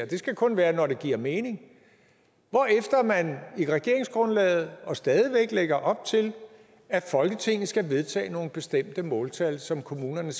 det skal kun være når det giver mening hvorefter man i regeringsgrundlaget og stadig væk lægger op til at folketinget skal vedtage nogle bestemte måltal som kommunerne